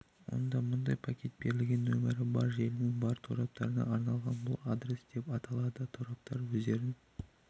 онда мұндай пакет берілген нөмірі бар желінің бар тораптарына арналған бұл адрес деп аталды тораптар өздерін